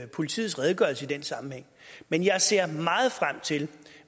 politiets redegørelse i den sammenhæng men jeg ser meget frem til